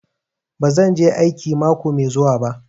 Bazan je aiki mako mai zuwa ba.